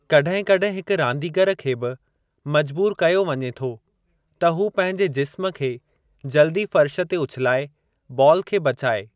कॾहिं कॾहिं हिक रांदीगर खे बि मजबूरु कयो वञे थो त हू पंहिंजे जिस्म खे जल्दी फ़र्शु ते उछिलाए बाल खे बचाइ।